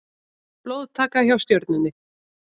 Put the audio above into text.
Blóðtaka hjá Stjörnunni